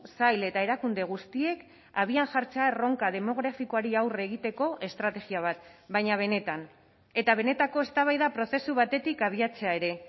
sail eta erakunde guztiek abian jartzea erronka demografikoari aurre egiteko estrategia bat baina benetan eta benetako eztabaida prozesu batetik abiatzea ere